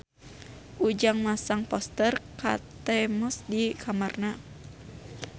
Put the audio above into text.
Ujang masang poster Kate Moss di kamarna